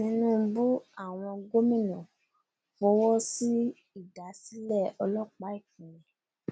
tinúbú àwọn gómìnà fọwọ́ sí ìdásílẹ ọlọpàá ìpínlẹ